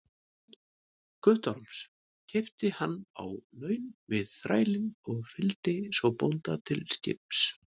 Guttorms, keypti hann á laun við þrælinn og fylgdi svo bónda til skips.